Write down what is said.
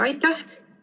Aitäh!